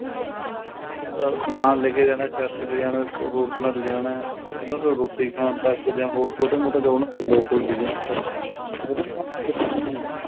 ਅਹ ਸਮਾਨ ਲੈਕੇ ਜਾਣਾ ਟਰੱਕ ਲੈ ਆਣਾ ਹੋਰ ਤਰ੍ਹਾਂ ਲਿਜਾਣਾ ਉਹਨਾ ਨੂੰ ਰੋਟੀ ਖਾਣ ਤੱਕ ਜਾ ਛੋਟਾ ਮੋਟਾ ਹੋਰ ਉਹਨਾ ਦਾ ਕੋਈ local business